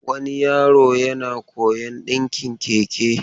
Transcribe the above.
Wani yaro yana koyon dinkin Keke.